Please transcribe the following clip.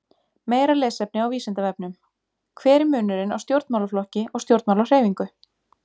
Meira lesefni á Vísindavefnum: Hver er munurinn á stjórnmálaflokki og stjórnmálahreyfingu?